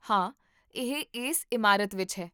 ਹਾਂ, ਇਹ ਇਸ ਇਮਾਰਤ ਵਿੱਚ ਹੈ